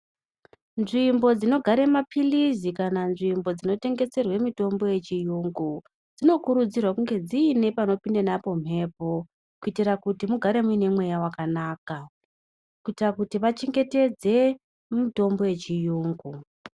Nzvimbo dzinogare maphilizi ,kana nzvimbo dzinotengeserwe mitombo yechiyungu, dzinokurudzirwa kunge dziine panopinda napo mhepo, kuitira kuti mugare muine mweya wakanaka, kuitira kuti vachengetedze mitombo yechiyungu.